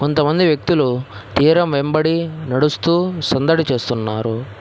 కొంతమంది వ్యక్తులు తీరం వెంబడి నడుస్తూ సందడి చేస్తున్నారు.